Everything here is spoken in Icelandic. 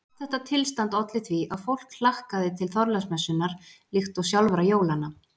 Allt þetta tilstand olli því að fólk hlakkaði til Þorláksmessunnar líkt og sjálfra jólanna.